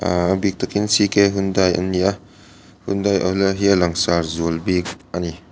a bik takin c k hyundai an ni a hyundai lai hi a langsar zual bik ani.